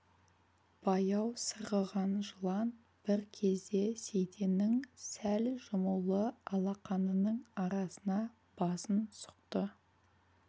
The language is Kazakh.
баяу сырғыған жылан бір кезде сейтеннің сәл жұмулы алақанының арасына басын сұқты